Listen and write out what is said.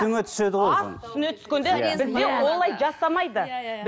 түседі ғой үстіңе түскенде бізде олай жасамайды иә иә иә